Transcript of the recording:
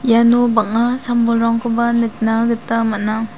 iano bang·a sam-bolrangkoba nikna gita man·a.